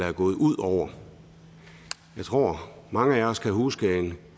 er gået ud over jeg tror at mange af os kan huske en